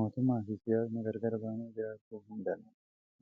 Mootummaa fi siyyaasni gargar ba'anii jiraachuu hin danda'ani.